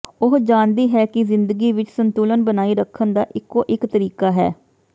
ਉਹ ਜਾਣਦੀ ਹੈ ਕਿ ਜ਼ਿੰਦਗੀ ਵਿਚ ਸੰਤੁਲਨ ਬਣਾਈ ਰੱਖਣ ਦਾ ਇਕੋ ਇਕ ਤਰੀਕਾ ਹੈ